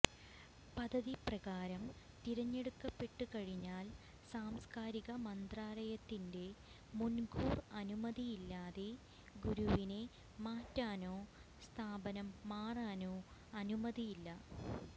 പദ്ധതിപ്രകാരം തിരഞ്ഞെടുക്കപ്പെട്ടു കഴിഞ്ഞാൽ സാംസ്കാരിക മന്ത്രാലയത്തിന്റെ മുൻകൂർ അനുമതിയില്ലാതെ ഗുരുവിനെ മാറ്റാനോ സ്ഥാപനം മാറാനോ അനുമതിയില്ല